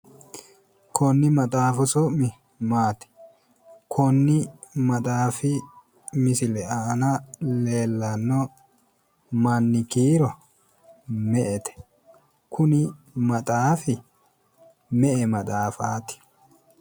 Konni maxaafu su'mi maati? Konni maxaafi misile aanna leellano manni kiiro me''ete? Kuni maxxaafi me''e maxaafaati?